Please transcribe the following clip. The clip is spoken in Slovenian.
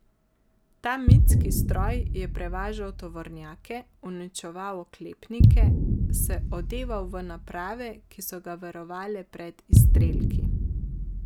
Ta mitski stroj je prevažal tovornjake, uničeval oklepnike, se odeval v naprave, ki so ga varovale pred izstrelki.